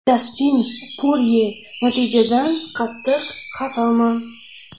Dastin Porye: Natijadan qattiq xafaman.